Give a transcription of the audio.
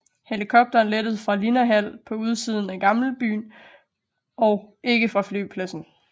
Helikopteren lettede fra Linnahall på udsiden af gamlebyen og ikke fra flypladsen